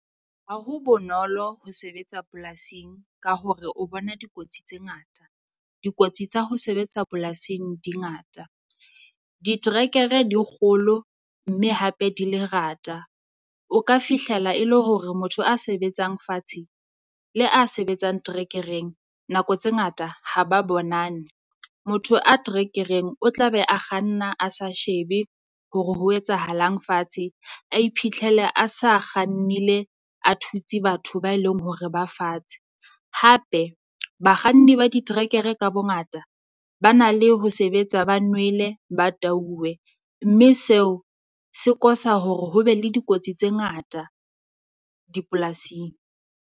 Ha ho bonolo ho sebetsa polasing ka hore o bona dikotsi tse ngata, dikotsi tsa ho sebetsa polasing di ngata. Ditrekere di kgolo, mme hape di lerata, o ka fihlela e le hore motho a sebetsang fatshe le a sebetsang trekereng nako tse ngata ha ba bonane. Motho a trekereng o tla be a kganna, a sa shebe hore ho etsahalang fatshe, a iphihlele a sa kgannile a thutse batho ba eleng hore ba fatshe. Hape Bakganni ba ditrekere ka bongata ba na le ho sebetsa ba nwele ba tauwe, mme seo se kosa hore ho be le dikotsi tse ngata dipolasing.